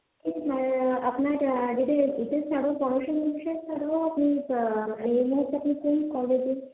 অ্যা আপনার যেটা পড়াশুনার বিষয়ে এই মুহূর্তে আপনি কোন কলেজে,